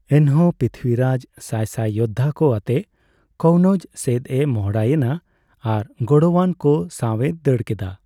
ᱮᱱᱦᱚᱸ ᱯᱨᱤᱛᱷᱤᱨᱟᱡ ᱥᱟᱭᱥᱟᱭ ᱡᱳᱫᱷᱟ ᱠᱚ ᱟᱛᱮ ᱠᱚᱱᱳᱣᱡ ᱥᱮᱫ ᱮ ᱢᱚᱦᱰᱟᱭᱮᱱᱟ ᱟᱨ ᱜᱚᱲᱚᱭᱟᱱ ᱠᱚ ᱥᱟᱣ ᱮ ᱫᱟᱹᱲ ᱠᱮᱫᱟ ᱾